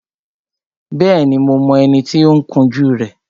Bẹ́ẹ̀ni, mo mọ ẹni tí ó ń kun jú rẹ